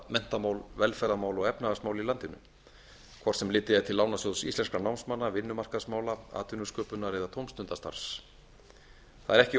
menntamál velferðarmál og efnahagsmál í landinu hvort sem litið er til lánasjóðs íslenskra námsmanna vinnumarkaðsmála atvinnusköpunar eða tómstundastarfs það er ekki